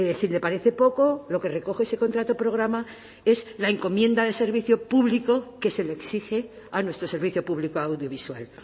si le parece poco lo que recoge ese contrato programa es la encomienda de servicio público que se le exige a nuestro servicio público audiovisual